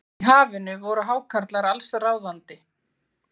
Í hafinu voru hákarlar allsráðandi.